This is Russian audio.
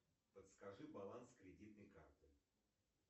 подскажи баланс кредитной карты